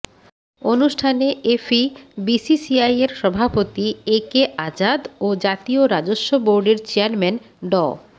অনুষ্ঠানে এফিবিসিসিআইয়ের সভাপতি একে আজাদ ও জাতীয় রাজস্ব বোর্ডের চেয়ারম্যান ড